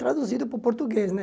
Traduzido para o português, né?